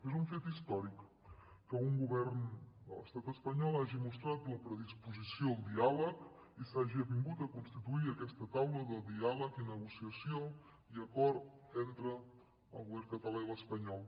és un fet històric que un govern de l’estat espanyol hagi mostrat la predisposició al diàleg i s’hagi avingut a constituir aquesta taula de diàleg i negociació i acord entre el govern català i l’espanyol